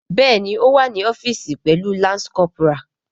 Bẹẹni o wa ni ọfiisi pẹlu lance corporal.